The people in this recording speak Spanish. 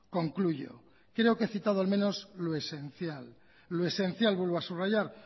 concluyo creo que he citado al menos lo esencial vuelvo a subrayar